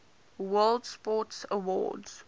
world sports awards